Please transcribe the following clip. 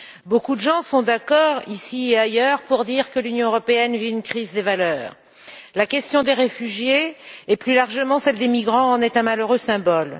Beaucoup sont d'accord ici et ailleurs pour dire que l'Union européenne vit une crise des valeurs. La question des réfugiés, et plus largement celle des migrants, en est un malheureux symbole.